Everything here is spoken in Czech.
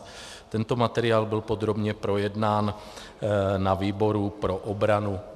Tento materiál byl podrobně projednán na výboru pro obranu.